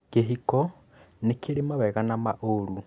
Kĩhiko nĩ kĩrĩ mawega na maũru